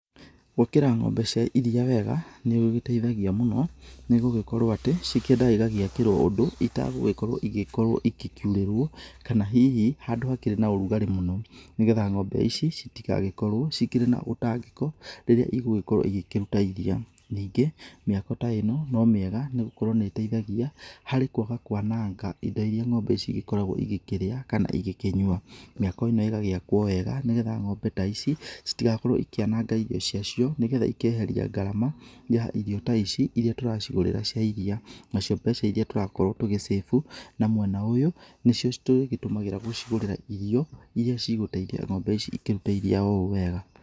Gwakĩra ng'ombe cia iriia wega, nĩ gũgĩteithagia mũno, nĩ gũgĩkorwo atĩ, cikĩendaga igagĩakĩrwo ũndũ itagũgĩkorwo igĩkorwo igĩkiurĩrwo, kana hihi handũ hakĩrĩ na ũrugarĩ mũno nĩ getha ng'ombe ici citigagĩkorwo cikĩrĩ na ũtangĩko rĩrĩa igũgĩkorwo igĩkĩruta iriia. Ningĩ, mĩako ta ĩno, no mĩega nĩ gũkorwo nĩ ĩteithagia harĩ kwaga kwananga indo irĩa ng'ombe cigĩkoragwo igĩkĩrĩa kana igĩkĩnyua. Mĩako ĩno ĩgagĩakwo wega, nĩ getha ng'ombe ta ici citigakorwo ikĩananga irio cia cio nĩ getha ikeheria ngarama ya irio ta ici irĩa tũracigũrĩra cia iriia. Nacio mbeca irĩa tũrakorwo tũgĩcabu na mwena ũyũ, nĩcio tũgĩtũmagĩra gũcigũrĩra irio irĩa cigũteithia ng'ombe ici cikĩrute iriia oo ũũ wega.